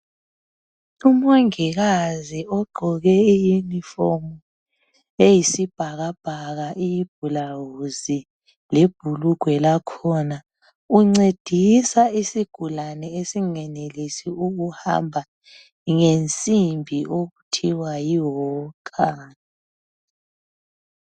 UMongikazi ugqoke iyunifomu eyisibhakabhaka ibhulawuzi lebhulugwe lakhona. Uncedisa isigulani esingenelisi ukuhamba ngensimbi okuthiwa yiwalker.